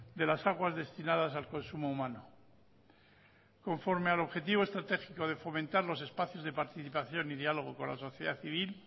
de las aguas destinadas al consumo humano conforme al objetivo estratégico de fomentar los espacios de participación y diálogo con la sociedad civil